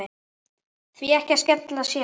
Því ekki að skella sér?